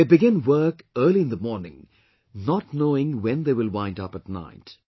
They begin work early in the morning, not knowing when they will wind up at night